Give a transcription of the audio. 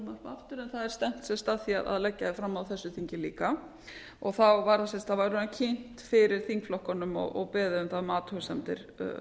það er stefnt víst að því að leggja það fram á þessu þingi líka og þá var það kynnt fyrir þingflokkunum og beðið um athugasemdir